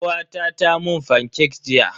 Kawata ta mun fancake jiya.